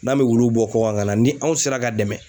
N'an be wulu bɔ kɔ kan ka na ni anw sera ka dɛmɛ